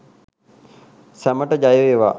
සැමට ජයවේවා!